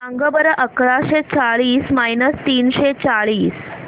सांगा बरं अकराशे चाळीस मायनस तीनशे चाळीस